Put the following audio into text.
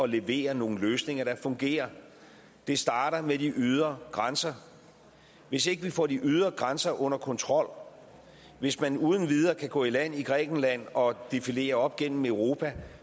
levere nogle løsninger der fungerer det starter med de ydre grænser hvis ikke vi får de ydre grænser under kontrol hvis man uden videre kan gå i land i grækenland og defilere op gennem europa